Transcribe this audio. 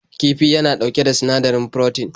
Kifi yana ɗauke da sinadari froten.